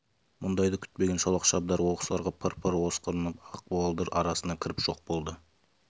мұндайды күтпеген шолақ шабдар оқыс ырғып пыр-пыр осқырынып ақ буалдыр арасына кіріп жоқ болды